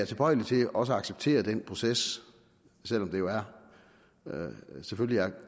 tilbøjelig til også at acceptere den proces selv om det selvfølgelig